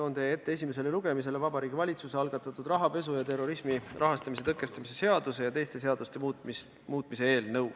Toon teie ette esimesele lugemisele Vabariigi Valitsuse algatatud rahapesu ja terrorismi rahastamise tõkestamise seaduse ja teiste seaduste muutmise seaduse eelnõu.